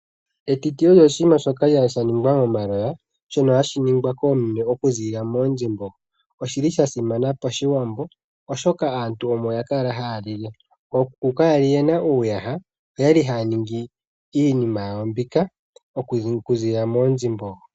Etiti olyo oshinima shoka sha ningwa momaloya shono hashiningwa koomeme oku ziilila moondjembo. Oshili sha simana pashiwambo oshoka aantu omo yakala haya lile. Ookuku kaya li yena uuyaha. Oyali haya ningi iinima yawo mbika oku ziilila moondjembo.